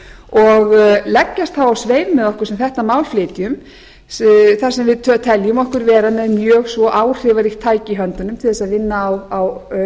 og leggja þá á sveif með okkur sem þetta mál flytjum þar sem við teljum okkur vera með mjög svo áhrifaríkt tæki í höndunum til þess að vinna á